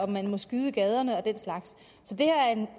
man må skyde i gaderne og den slags